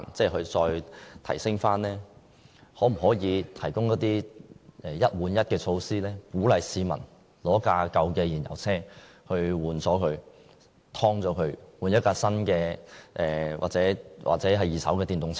可否提供一換一的措施，鼓勵市民以舊有燃油車更換為新的或二手電動車？